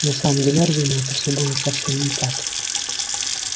на самом деле разумеется все было совсем не так